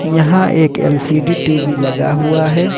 यहां एक LCD TV लगा हुआ है।